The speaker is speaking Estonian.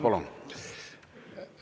Palun!